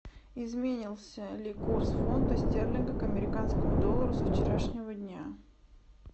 изменился ли курс фунта стерлинга к американскому доллару со вчерашнего дня